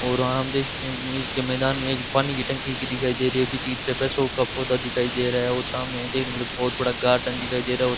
और आम देख सकते हैं बीच के मैदान में एक पानी की टंकी की दिखाई दे रही है पीछे की तरफ है शो का पौधा दिखाई दे रहा है और सामने बहोत बड़ा गार्डन दिखाई दे रहा और --